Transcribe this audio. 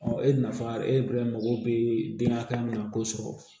e nafa e bɛ mago bɛ den hakɛ min na k'o sɔrɔ